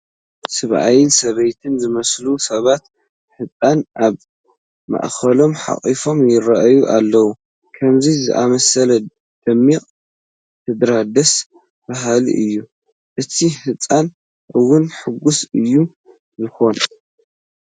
ሰብኣይን ሰበይትን ዝመስሉ ሰባት ሕፃን ኣብ ማእኸሎም ሓቒፎም ይርአዩ ኣለዉ፡፡ ከምዚ ዝኣምሰለ ደሚቕ ስድራ ደስ በሃሊ እዩ፡፡ እቲ ህፃን እውን ሕጉስ እዩ ዝኾን፡፡